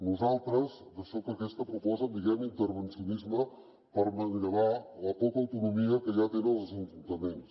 nosaltres d’això que proposen en diem intervencionisme per manllevar la poca autonomia que ja tenen els ajuntaments